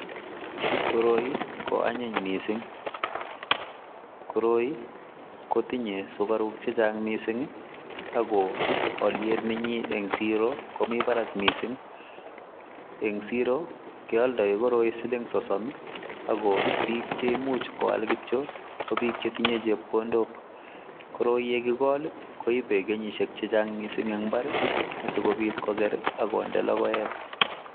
Koroi ko anyiiny missing, koroi kotinyei sugariuk che chaang missing ii ako aliet nenyiin en siroo komii barak missing eng siroo keyaldaen koroi siling sosom ii ako biik cheimuiche koyaal kityoi ko biik che tinyei chepkondook, koroi ye kigol koibet kenyisiek che chaang missing asikobiit koger ii akonde logoek.